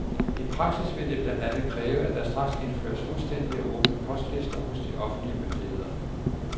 I praksis vil det blandt andet kræve, at der straks indføres fuldstændige og åbne postlister hos de offentlige myndigheder.